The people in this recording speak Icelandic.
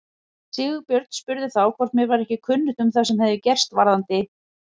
Sigurbjörn spurði þá hvort mér væri ekki kunnugt um það sem gerst hefði varðandi